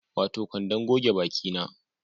Wato kwandon goge baki na